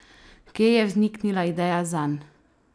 Kje je vzniknila ideja zanj?